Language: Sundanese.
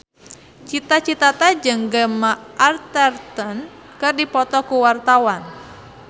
Cita Citata jeung Gemma Arterton keur dipoto ku wartawan